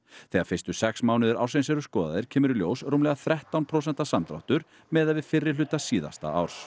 þegar fyrstu sex mánuðir ársins eru skoðaðir kemur í ljós rúmlega þrettán prósenta samdráttur miðað við fyrri hluta síðasta árs